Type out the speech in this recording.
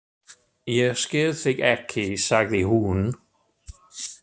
Ég skil þig ekki, sagði hún.